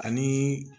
Ani